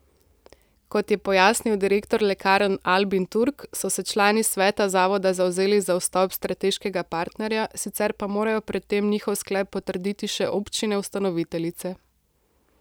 Kot je pojasnil direktor lekarn Albin Turk, so se člani sveta zavoda zavzeli za vstop strateškega partnerja, sicer pa morajo pred tem njihov sklep potrditi še občine ustanoviteljice.